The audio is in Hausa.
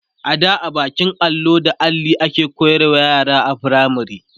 ada da bakin allo da Alli ake koyarwa yara a firamare